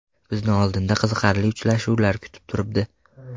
Bizni oldinda qiziqarli uchrashuvlar kutib turibdi.